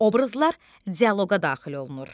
Obrazlar dialoqa daxil olunur.